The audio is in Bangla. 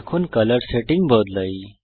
এখন কলর সেটিং বদলাই